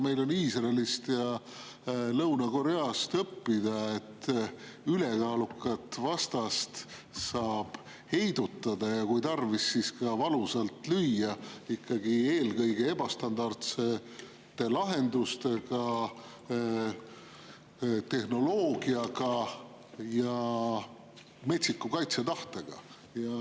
Meil on Iisraelilt ja Lõuna-Korealt õppida seda, et ülekaalukat vastast saab heidutada ja kui tarvis, siis ka valusalt lüüa ikkagi eelkõige ebastandardsete lahenduste, tehnoloogia ja metsiku kaitsetahtega.